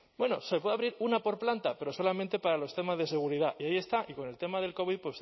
bueno se puede abrir una por planta pero solamente para los temas de seguridad y ahí está y con el tema del covid